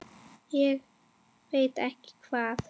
Ég veit ekki hvað